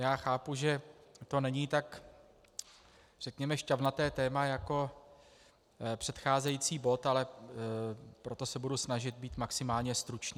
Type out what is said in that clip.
Já chápu, že to není tak, řekněme, šťavnaté téma jako předcházející bod, ale proto se budu snažit být maximálně stručný.